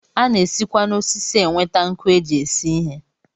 A na-esikwa n'osisi enweta nkụ e ji esi ihe